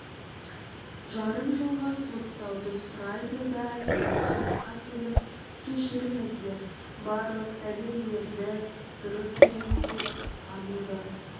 жарым жылға соттауды сұрайды да кейін сотқа келіп кешіріңіздер барлық дәлелдерді дұрыс емес деп тануды